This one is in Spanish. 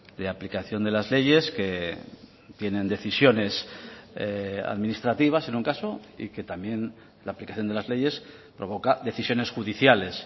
de aplicación de las leyes que tienen decisiones administrativas en un caso y que también la aplicación de las leyes provoca decisiones judiciales